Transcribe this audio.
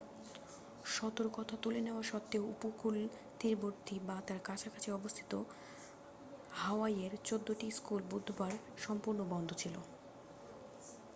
সতর্কতা তুলে নেওয়া সত্ত্বেও উপকূল তীরবর্তী বা তার কাছাকাছি অবস্থিত হাওয়াইয়ের চৌদ্দটি স্কুল বুধবার সম্পূর্ণ বন্ধ ছিল